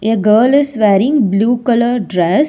A girl is wearing blue color dress.